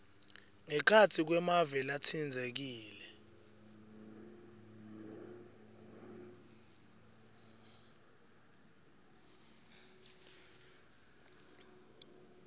ngekhatsi kwemave latsintsekile